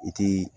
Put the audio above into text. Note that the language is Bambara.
I ti